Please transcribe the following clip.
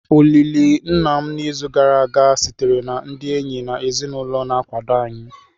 Olili nna m n'izu gara aga sitere na ndị enyi na ezinụlọ na-akwado anyị.